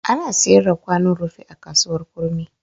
Ana sayar da kwanon rufi a kasuwar kurmi.